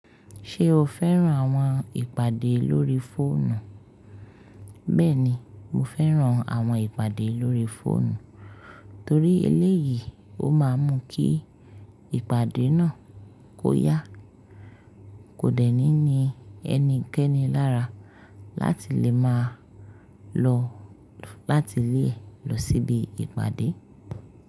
Ṣé o fẹ́ràn àwọn ìpàdé lórí fóònù? Bẹ́ẹ̀ni, mo fẹ́ràn àwọn ìpàdé lórí fóònù torí eléyìí ó máa ń mú kí ìpàdé náà kó yá. Kò dẹ̀ ní ni ẹni kẹ́ni lára láti lè máa lọ láti ilé lọ síbi ìpàdé.